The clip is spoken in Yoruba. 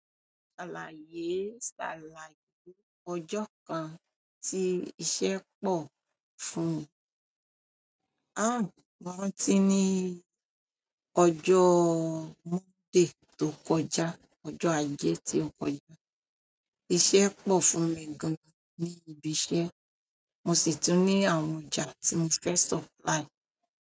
Ṣàlàyé ṣàlàyé ọjọ́ kan tí iṣẹ́ pọ̀ fún ẹ. Àń, mo rántí ní ọjọ́ Monday tó kọjá, ọjọ́ ajé tí ó kọjá. Iṣẹ́ pọ̀ fún mi gan ni ibi iṣẹ́, mo sì tún ní àwọn ọjà tí mo fe supply.